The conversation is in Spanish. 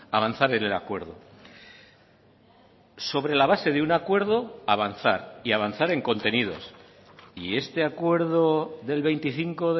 avanzar en el acuerdo sobre la base de un acuerdo avanzar y avanzar en contenidos y este acuerdo del veinticinco